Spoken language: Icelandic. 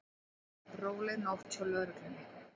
Róleg nótt hjá lögreglunni